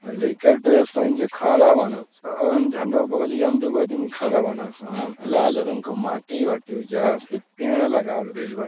लइका ड्रेस पहीनके खड़ा बाड़ सन। झंडवा के बगलिया में दूगो आदमी खड़ा बाड़ सन। लाल रंग क माटी बाटे ओहिजा। फिर पेड़ लगावल गईल बा।